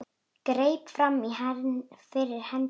Greip fram í fyrir henni.